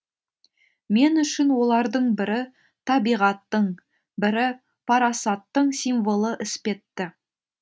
мен үшін олардың бірі табиғаттың бірі парасаттың символы іспетті